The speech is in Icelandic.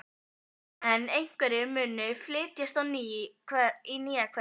En hverjir munu flytjast í nýja hverfið?